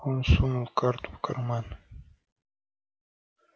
он сунул карту в карман